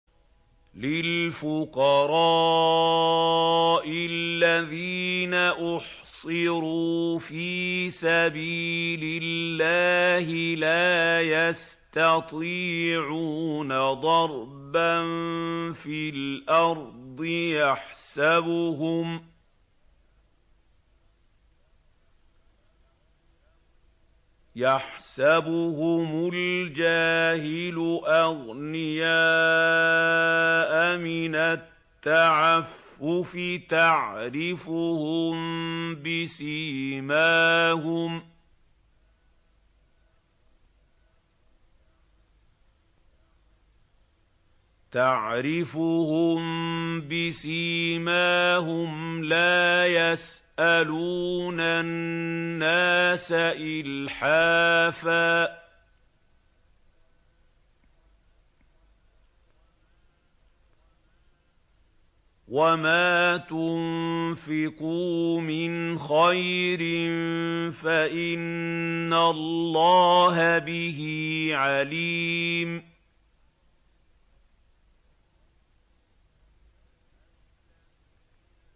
لِلْفُقَرَاءِ الَّذِينَ أُحْصِرُوا فِي سَبِيلِ اللَّهِ لَا يَسْتَطِيعُونَ ضَرْبًا فِي الْأَرْضِ يَحْسَبُهُمُ الْجَاهِلُ أَغْنِيَاءَ مِنَ التَّعَفُّفِ تَعْرِفُهُم بِسِيمَاهُمْ لَا يَسْأَلُونَ النَّاسَ إِلْحَافًا ۗ وَمَا تُنفِقُوا مِنْ خَيْرٍ فَإِنَّ اللَّهَ بِهِ عَلِيمٌ